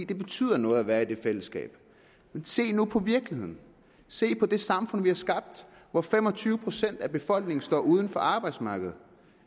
det betyder noget at være i et fællesskab se nu på virkeligheden se på det samfund vi har skabt hvor fem og tyve procent af befolkningen står uden for arbejdsmarkedet